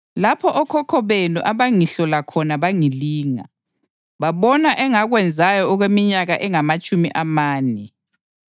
lapho okhokho benu abangihlola khona bangilinga, babona engakwenzayo okweminyaka engamatshumi amane.